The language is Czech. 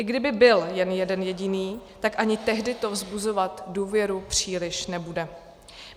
I kdyby byl jen jeden jediný, tak ani tehdy to vzbuzovat důvěru příliš nebude.